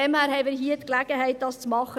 Hier haben wir die Gelegenheit, etwas zu tun.